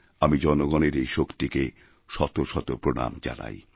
আমিজনগণের এই শক্তিকে শত শত প্রণাম জানাই